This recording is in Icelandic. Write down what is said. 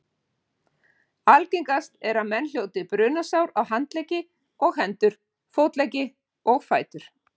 Algengast er að menn hljóti brunasár á handleggi og hendur, fótleggi og fætur.